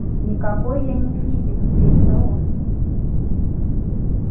никакой я не физик злится он